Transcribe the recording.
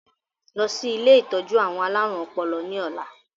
Lọ sí ilé ìtọ́jú àwọn alárùn ọpọlọ ni ọ̀la!